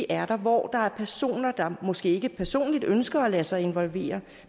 er der hvor der er personer som måske ikke personligt ønsker at lade sig involvere